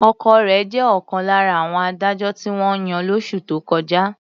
Ọkọ rẹ̀ jẹ́ ọ̀kan lára àwọn adájọ́ tí wọ́n yàn lóṣù tó kọjá.